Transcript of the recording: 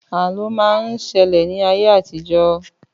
Àlọ́ má ń ṣẹlẹ̀ ní ayé àtijọ́